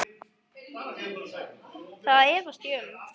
Það efast ég um.